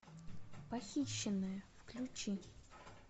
похищенная включи